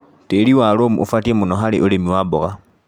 Tĩri wa loam ũbatie mũno harĩ ũrĩmi wa mboga.